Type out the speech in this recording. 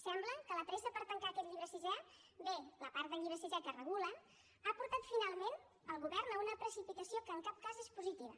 sembla que la pressa per tancar aquest llibre sisè bé la part del llibre sisè que es regula ha portat finalment el govern a una precipitació que en cap cas és positiva